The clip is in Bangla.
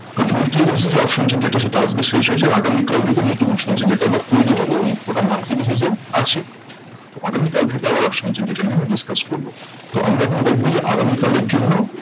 কারণ weekly basis এ option chain যেটা সেটা আসবে আগামী কাল যেইদিন নতুন option chain টা আবার তৈরী হবে এবং ওটা monthly basis এ আছে। তো আগামী কাল থেকে আবার option chain এটা নিয়ে discuss করবো। তো আমরা এখন দেখবো যে আগামী কালের জন্য